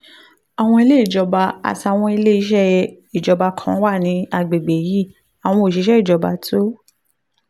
àwọn ilé ìjọba àtàwọn ilé iṣẹ́ ìjọba kan wà ní àgbègbè yìí àwọn òṣìṣẹ́ ìjọba tó